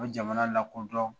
O jamana lakodɔn